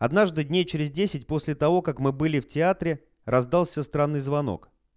однажды дней через десять после того как мы были в театре раздался странный звонок